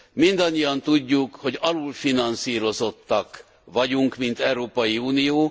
Mindannyian tudjuk, hogy alulfinanszírozottak vagyunk mint Európai Unió.